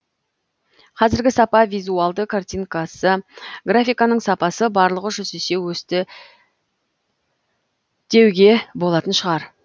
қазіргі сапа визуалды картинкасы графиканың сапасы барлығы жүз есе өсті деуге болатын шығар